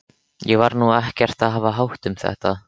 Ég var nú ekkert að hafa hátt um þetta.